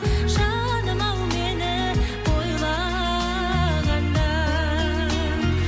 жаным ау мені ойлағанда